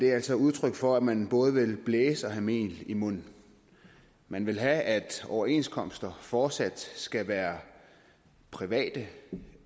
er altså udtryk for at man både vil blæse og have mel i munden man vil have at overenskomster fortsat skal være private